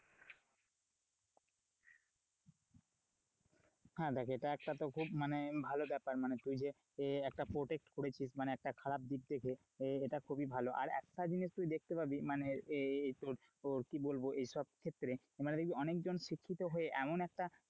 হ্যাঁ, দেখ এটা একটা তো খুব মানে ভালো বেপার, মানে তুই যে একটা protest করেছিস, মানে একটা খারাপ দিক থেকে এটা খুবই ভালো আর একটা জিনিস তুই দেখতে পাবি মানে এই তোর কি বলবো এসব ক্ষেত্রে অনেকজন শিক্ষিত হয়ে এমন একটা,